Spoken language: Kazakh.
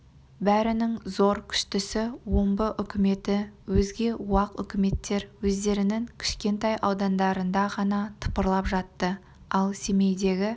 бәрінің зоры күштісі омбы үкіметі өзге уақ үкіметтер өздерінін кішкентай аудандарында ғана тыпырлап жатты ал семейдегі